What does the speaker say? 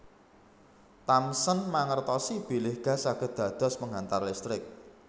Thomson mangertosi bilih gas saged dados penghantar listrik